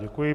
Děkuji.